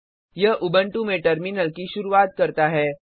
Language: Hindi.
यह उबंटू में टर्मिनल की शुरूआत करता है